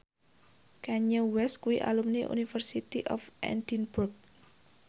Kanye West kuwi alumni University of Edinburgh